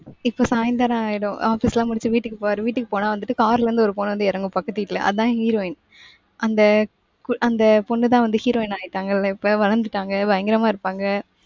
இப்ப சாயந்திரம் ஆயிடும். office லாம் முடிச்சு வீட்டுக்கு போவாரு. வீட்டுக்கு போனா வந்துட்டு car ல இருந்து ஒரு பொண்ணு வந்து இறங்கும் பக்கத்து வீட்டுல. அதான் heroine. அந்த கு~ அந்த பொண்ணுதான் வந்து heroine ஆயிட்டாங்கல்ல இப்ப வளர்ந்துட்டாங்க பயங்கரமா இருப்பாங்க.